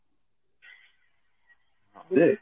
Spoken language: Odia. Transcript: ହଁ ଯେ